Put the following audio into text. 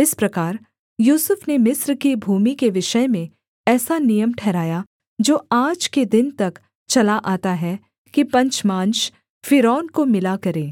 इस प्रकार यूसुफ ने मिस्र की भूमि के विषय में ऐसा नियम ठहराया जो आज के दिन तक चला आता है कि पंचमांश फ़िरौन को मिला करे